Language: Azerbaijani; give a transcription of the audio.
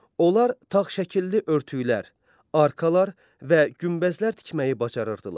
Onlar tağ şəkilli örtüklər, arkalar və günbəzlər tikməyi bacarırdılar.